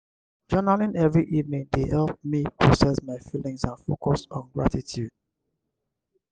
journaling every evening dey help me process my feelings and focus on gratitude.